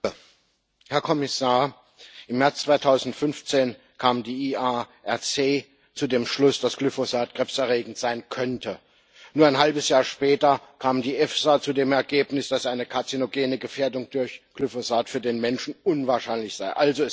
Herr Präsident, Herr Kommissar! Im März 2015 kam die IARC zu dem Schluss, dass Glyphosat krebserregend sein könnte. Nur ein halbes Jahr später kam die EFSA zu dem Ergebnis, dass eine karzinogene Gefährdung durch Glyphosat für den Menschen unwahrscheinlich sei.